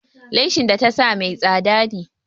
Leshin da ta sa mai tsada ne.